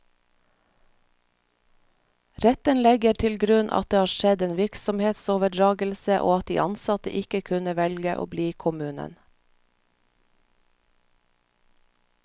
Retten legger til grunn at det har skjedd en virksomhetsoverdragelse, og at de ansatte ikke kunne velge å bli i kommunen.